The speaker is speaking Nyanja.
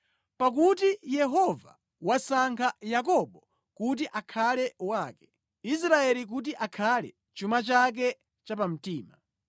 Pakuti Yehova wasankha Yakobo kuti akhale wake, Israeli kuti akhale chuma chake chapamtima.